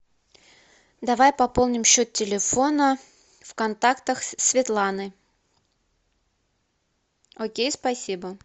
давай пополним счет телефона в контактах светланы окей спасибо